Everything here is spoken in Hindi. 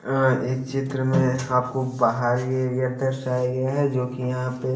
अं इस चित्र में आपको बाहरी एरिया दर्शाया गया है जोकि यहां पे--